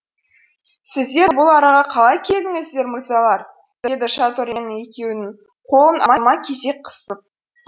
сіздер бұл араға қалай келдіңіздер мырзалар деді шато рено екеуінің қолын алма кезек қысып